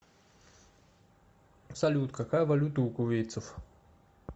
салют какая валюта у кувейтцев